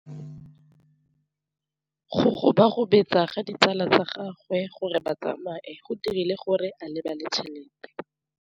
Go gobagobetsa ga ditsala tsa gagwe, gore ba tsamaye go dirile gore a lebale tšhelete.